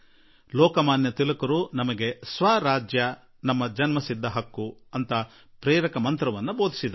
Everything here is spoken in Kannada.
ಲೋಕಮಾನ್ಯ ತಿಲಕ್ ಜೀ ನಮಗೆ ಸ್ವರಾಜ್ಯ ನಮ್ಮ ಜನ್ಮಸಿದ್ಧ ಹಕ್ಕು ಎಂಬ ಸ್ಫೂರ್ತಿ ಮಂತ್ರ ನೀಡಿದರು